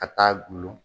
Ka taa gulon